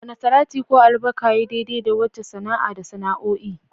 Wane salati ko albarka yayi daidai da wace sana'a da sana'o'i?